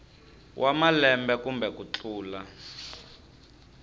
wa malembe kumbe ku tlula